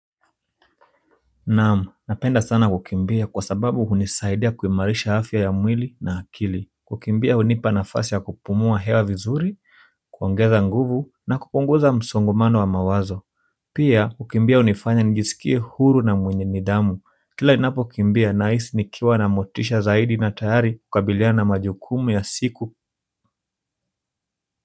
Naam, napenda sana kukimbia kwa sababu hunisaidia kuimarisha afya ya mwili na akili kukimbia hunipa nafasi ya kupumua hewa vizuri kuongeza nguvu na kupunguza msongomano wa mawazo pia, kukimbia hunifanya nijisikie huru na mwenye nidhamu kila ninapokimbia nahisi nikiwa na motisha zaidi na tayari kukabilia na majukumu ya siku.